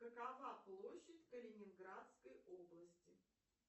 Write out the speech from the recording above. какова площадь калининградской области